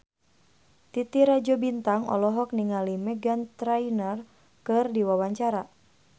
Titi Rajo Bintang olohok ningali Meghan Trainor keur diwawancara